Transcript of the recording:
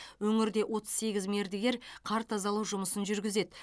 өңірде отыз сегіз мердігер қар тазалау жұмысын жүргізеді